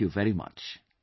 Thank you very much